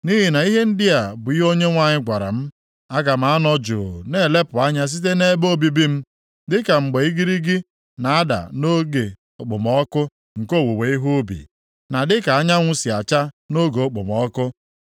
Nʼihi na ihe ndị a bụ ihe Onyenwe anyị gwara m, “Aga m anọ jụụ na-elepụ anya site nʼebe obibi m, dịka mgbe igirigi na-ada nʼoge okpomọkụ nke owuwe ihe ubi, na dịka anyanwụ si acha nʼoge okpomọkụ.”